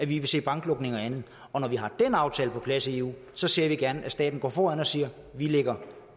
vi vil se banklukninger og andet og når vi har den aftale på plads i eu så ser vi gerne at staten går foran og siger vi lægger